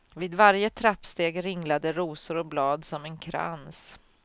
Vid varje trappsteg ringlade rosor och blad som en krans.